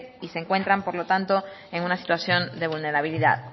y se encuentran por lo tanto en una situación de vulnerabilidad